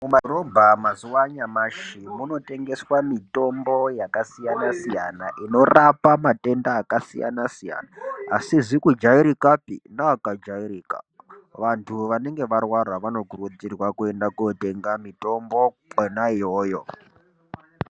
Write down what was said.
Mumadhorobha mazuva ano anyamashi munotengeswa mitombo yakasiyana siyana inorapa matenda akasiyana-siyana asizi kujairikapi neakajairika vantu vanenge varwara vanokurudzirwa kuenda kotenga mitombo Kona iyoyo.